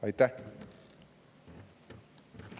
Aitäh!